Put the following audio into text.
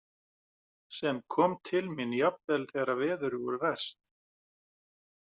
Sem kom til mín jafnvel þegar veður voru verst.